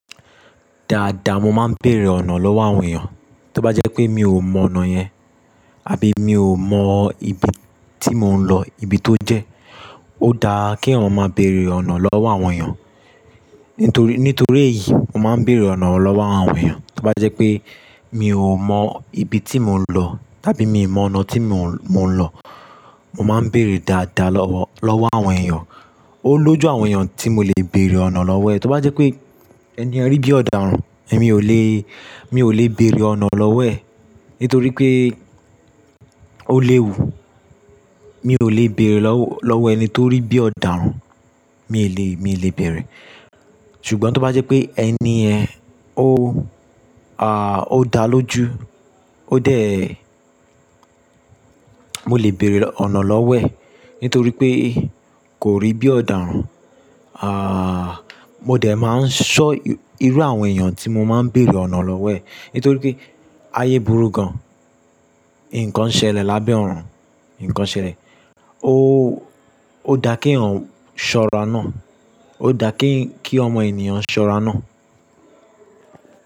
Dáadáa mo máa ń bèrè ọ̀nà lọ́wọ́ àwọn èèyàn, tó bá jẹ́ pé mi ò mọ ọ̀nà yẹn àbí mi ò mọ ibi tí mò ń lọ, ibi tó jẹ́. Ó dáa kí ọ̀ràn máa bèrè ọ̀nà lọ́wọ́ àwọn èèyàn nitori. Nítorí èyí, mo máa ń bèrè ọ̀nà lọ́wọ́ àwọn èèyàn. Tó bá jẹ́ pé mi ò mọ ibi tí mò ń lọ tàbí mi mọ ọ̀nà tí mò ń lọ, mo máa ń bèrè dáadáa lọ́wọ́ àwọn èèyàn. Ó lójú àwọn èèyàn tí mo lè bèrè ọ̀nà lọ́wọ́ ẹ̀. Tó bá jẹ́ pé ẹniyen rí bí ọ̀daràn, èmi ò lè, mi ò lè bèrè ọ̀nà lọ́wọ́ ẹ̀ nítorí pé ó léwu. Mi ò lè bèrè lọ́wọ́ ẹni tó rí bí ọ̀daràn, mi lè, mi lè bèrè. Ṣùgbọ́n tó bá jẹ́ pé ẹniyẹ̀n ó, à, ó dáa lójú, ó dẹ̀, mo lè bèrè ọ̀nà lọ́wọ́ ẹ̀ nítorí pé kò rí bí ọ̀daràn. Àà, mo dẹ̀ máa ń sọ irú àwọn èèyàn tí mo máa ń bèrè ọ̀nà lọ́wọ́ ẹ̀ nítorí pé ayé burú gan. Ǹkan ṣe lè lábẹ́ ọ̀run, ǹkan ṣe lè o. Ó dáa kí eyan ṣọ́ra náà, ó dáa kí ọmọ ènìyàn ṣọ́ra náà.